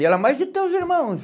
E ela, mas e teus irmãos?